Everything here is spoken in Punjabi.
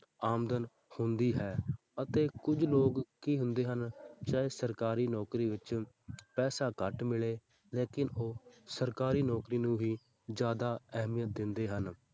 ਆਮਦਨ ਹੁੰਦੀ ਹੈ ਅਤੇ ਕੁੱਝ ਲੋਕ ਕੀ ਹੁੰਦੇ ਹਨ ਚਾਹੇ ਸਰਕਾਰੀ ਨੌਕਰੀ ਵਿੱਚ ਪੈਸਾ ਘੱਟ ਮਿਲੇ ਲੇਕਿੰਨ ਉਹ ਸਰਕਾਰੀ ਨੌਕਰੀ ਨੂੰ ਹੀ ਜ਼ਿਆਦਾ ਅਹਿਮੀਅਤ ਦਿੰਦੇ ਹਨ।